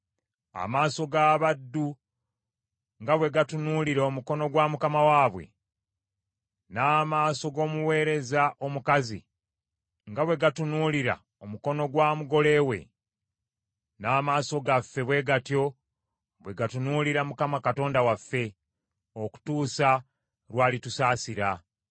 Amaaso g’abaddu nga bwe gatunuulira omukono gwa mukama waabwe; n’amaaso g’omuweereza omukazi nga bwe gatunuulira omukono gwa mugole we , n’amaaso gaffe bwe gatyo bwe gatunuulira Mukama Katonda waffe, okutuusa lw’alitusaasira.